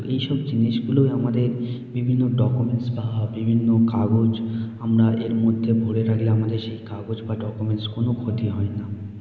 এইসব জিনিস গুলোয় আমাদের বিভিন্ন ডকুমেন্টস বা বিভিন্ন কাগজ । আমরা এর মধ্যে ভরে রাখলে আমাদের সেই কাগজ বা ডকুমেন্টস কোনো ক্ষতি হয়না।